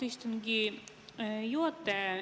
Austatud istungi juhataja!